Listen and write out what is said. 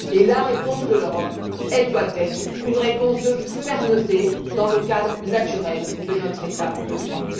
La réponse de l'Europe doit être une réponse de fermeté dans le cadre naturel de notre état de droit.